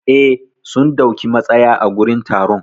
Eh, sun dauki matsaya a gurin taron.